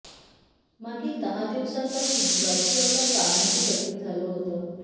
मागील दहा दिवसांपासून बाजीरावला चालणंही कठीण झालं होतं